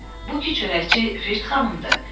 Hə, bu ki çörəkçi Virt xanımdır.